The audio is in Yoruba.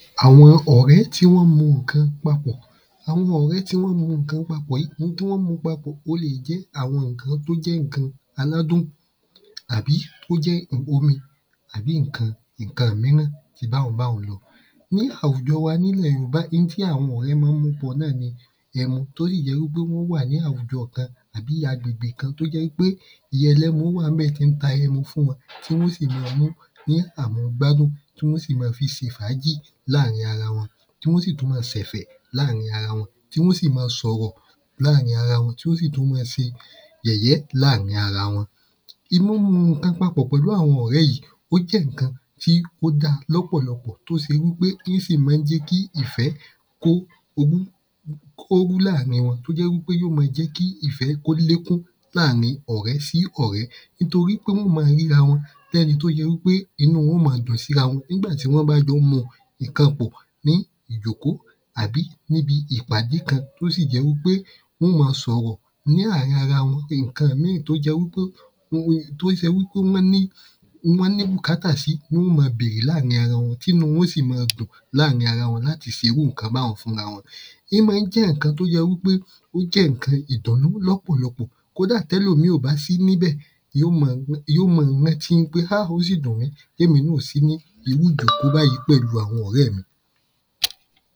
Àwọn ọ̀rẹ́ tí wọ́n mu kan papọ̀ Àwọn ọ̀rẹ́ tí wọ́n mu kan papọ̀ yí ohun tí wọ́n mu papọ̀ o le è jẹ́ àwọn ǹkan t’ó jẹ́ ǹkan ànádún àbí ó jẹ́ omi àbí ǹkan míràn bi báhun báhun náà. Ní àwùjọ wa n’ílẹ̀ yòbá in tí àwọn ọ̀rẹ́ má ń mu pọ̀ náà ni ẹmu t’ó sì jẹ́ wí pé wọ́n wà ní àwùjọ re kan. àbí agbègbè kan t’ó jẹ́ wí pé. ìya ẹlẹ́mu wà ń bẹ̀ tí ń ta ẹmu fún wọn tí wọ́n ó sì ma mú ní àmu gbádùn. Tí wọ́n sì ma fi se fàájì láàrin ara wọn. Tí wọ́n sì tú ma fi sẹ̀fẹ̀ láàrin ara wọn Tí wọ́n sì ma sọ̀rọ̀ láàrin ara wọn. Tí wọ́n sì tú ma se yẹ̀yẹ́ láàrin ara wọn. Ìmọmu ǹkan papọ̀ láàrin àwọn ọ̀rẹ́ yìí ó jẹ́ ǹkan t’ó da lọ́pọ̀lọpọ̀ t’ó se wí pé í sì má ń jẹ́ kí ìfẹ́ kó láàrin wọn t’ó jẹ́ wí pé yí ó ma jẹ́ kí ìfẹ́ k’ó lékún láàrin ọ̀rẹ́ sí ọ̀rẹ́ nítorí pé wọ́n ó ma ríra wọn l’ẹ́ni t’ó jẹ wí pé inú wọn ó ma dùn síra wọn n’ígbà tí wọ́n bá jọ ń muǹkan pọ̀. ní ìjòkó àbí n’íbi ìpàdé kan tó sì jẹ́ wí pé wọ́n ó ma sọ̀rọ̀ ní àárin ara wọn ìnkan míì t’ó jẹ́ wí pé ohun t’ó se wí pé wọ́n ní wọ́n ní bùkátà sí láàrin ara wọn t’ínú wọn ó sì ma dùn láàrin ara wọn láti se irú ǹkan báhun fún’ra wọn. Ín má ń jẹ́ ǹkan t’ó yẹ wí pe ó jẹ́ ǹkan ìdùnú lọ́pọ̀lọpọ̀ Kódà t’ẹ́lomíì ò bá sí ní bẹ̀, yí ó ma rántí ń pé háà! Ó sì dùn mí p’émi náà ò sí ní irú ǹkan t’ó báyí pẹ̀lú àwọn ọ̀rẹ́ mi.